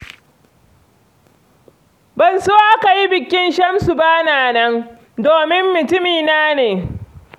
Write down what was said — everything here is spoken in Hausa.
Ban so aka yi bikin Shamsu ba na nan, domin mutumina ne sosai.